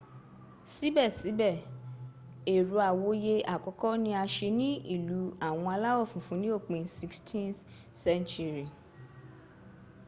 sibesibe ero awoye akoko ni a se ni ilu awon alawo funfun ni opin 16th century